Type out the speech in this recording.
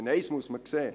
Eines muss man sehen: